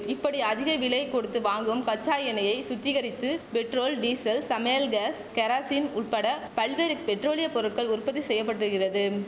இப்படி அதிக விலை கொடுத்து வாங்கும் கச்சா எண்ணெயை சுத்திகரித்து பெட்ரோல் டீசல் சமையல் காஸ் கெரசின் உட்பட பல்வேறு பெட்ரோலிய பொருட்கள் உற்பத்தி செய்யப்பட்டுகிறது